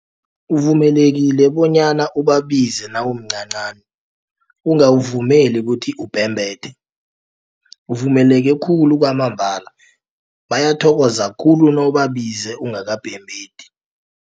Uvumelekile bonyana ubabize nawumncancani, ungawuvumeli ubhembethe. Uvumeleke khulu kwamambala bayathokoza khulu nawubabize ungakabhembethi.